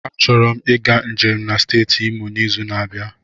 Achọrọ m ịga njem na steeti Imo n'izu na-abịa.